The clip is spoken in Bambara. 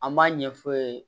An b'a ɲɛ f'u ye